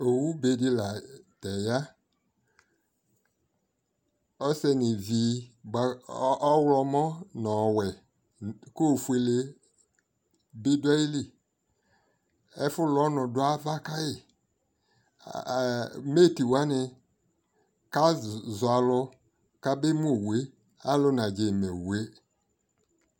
ɔwʋ bɛ di lantɛ ya, ɔsɛnʋ ivi ba ɔwlɔmʋ nʋ ɔwɛ kʋ ɔfʋɛlɛ bi dʋ ayili, ɛfʋlʋ ɔnʋ bi dʋ aɣa kai, a ɛɛ, mate wani kazɔ alʋ kʋ abɛ mʋ ɔwʋɛ, alʋ nagyɛ mɛ ɔwʋɛ